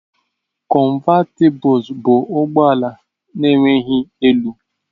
Cọnvatịbụls bụ ụgbọ ala na-enweghị elu.